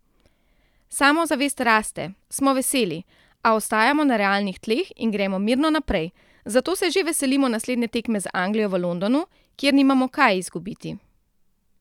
Samozavest raste, smo veseli, a ostajamo na realnih tleh in gremo mirno naprej, zato se že veselimo naslednje tekme z Anglijo v Londonu, kjer nimamo kaj izgubiti.